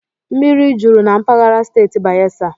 Mmiri jụrụ na mpaghara steeti Bayelsa